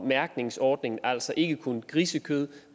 mærkningsordningen altså ikke kun for grisekød